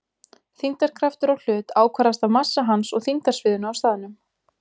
Þyngdarkraftur á hlut ákvarðast af massa hans og þyngdarsviðinu á staðnum.